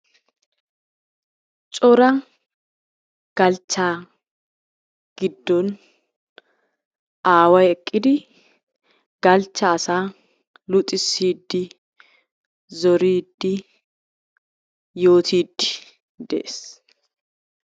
Cora galchcha giddon aaway eqqidi galchcha asaa luxissidi zoridi yootidi de'ees.